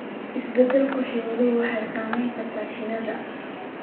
Isbeddelka cimiladu waxay saameyn kartaa shinnida.